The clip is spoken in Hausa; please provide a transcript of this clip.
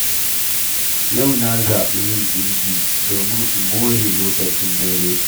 Yau na zaɓi yin ɗinki, domin in mõre lokacin dare.